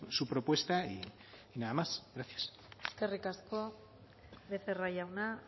su propuesta y nada más gracias eskerrik asko becerra jauna